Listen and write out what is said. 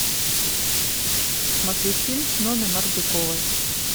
смотреть фильм с нонной мордюковой